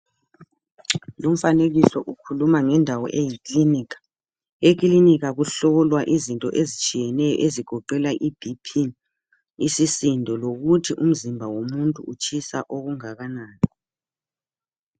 lumfanekiso ukhuluma ngendawo eyiklinikha, eklinika kuhlolwa izinto ezitshiyeneyo ezigoqela i BP isisindo lokuthi umzimba omuntu utshisa okungakanani